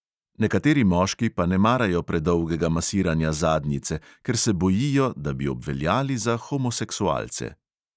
Nekateri moški pa ne marajo predolgega masiranja zadnjice, ker se bojijo, da bi obveljali za homoseksualce.